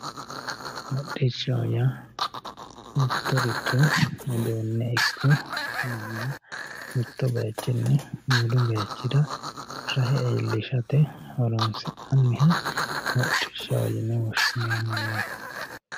Hodhdhishaho yaa mittoricho uduune ikko manna mitu bayichini wolu bayichira rahr iillishate horo'nsinnaniha hodhdhishaho yine woshineemo yaatr